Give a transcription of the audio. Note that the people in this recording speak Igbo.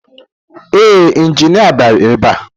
Ee, injinia bịara ebe a